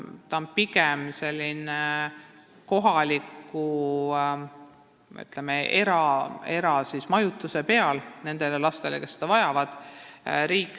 Nende laste majutamine, kes seda vajavad, toimub pigem kohaliku, ütleme, eramajutuse abil.